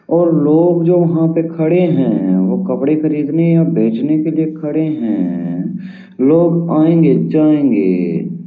और लोग जो यहाँ पे खड़े हैं वो कपड़े खरीदने और बेचने के लिए खड़े हैं। लोग आएंगे जाएंगे।